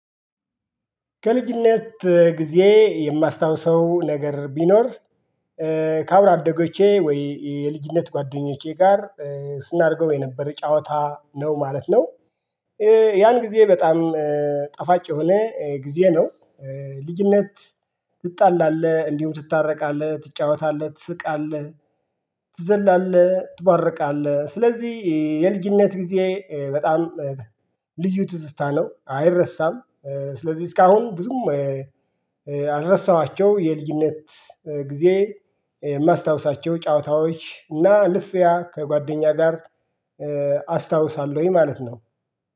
ከልጅነት ጊዜ የማስታውሰው ነገር ቢኖር ከአብሮ አደጎቼ ወይ የልጅነት ጓደኞቼ ጋር ስናደርገው የነበረ ጨዋታ ነው ማለት ነው። ያን ጊዜ በጣም ጠፋጭ የሆነ ጊዜ ነው። ልጅነት ትጣላለህ እንዲሁም ትታረቃለህ ትጫወታለህ ትስቃለህ። ትዘላለህ ትቦርቃለህ ስለዚህ የልጅነት ጊዜ በጣም ልዩ ትዝታ ነው አይረሳም። ስለዚህ እስካሁን ብዙም ያልረሳኋቸው የልጅነት ጊዜ የማስታውሳቸው ጨዋታዎች እና ልፊያ ከጓደኛ ጋር አስታውሳለሁኝ ማለት ነው